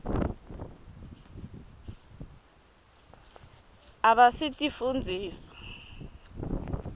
abasitifundziswa